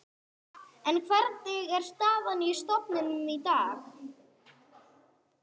En hvernig er staðan á stofninum í dag?